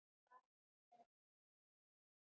Hvað hún er annars sæt!